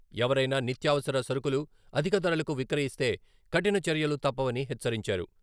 ఎవరైనా నిత్యావసర సరుకులు అధిక ధరలకు విక్రయిస్తే కఠిన చర్యలు తప్పవని హెచ్చరించారు.